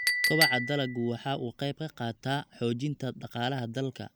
Kobaca dalaggu waxa uu ka qayb qaataa xoojinta dhaqaalaha dalka.